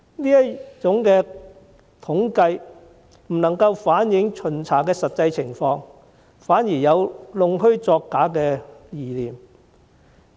這種統計方式不能反映巡查的真實情況，反而有弄虛作假的嫌疑。